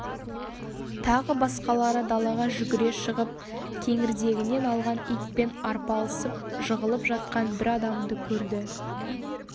тағы басқалары далаға жүгіре шығып кеңірдегінен алған итпен арпалысып жығылып жатқан бір адамды көрді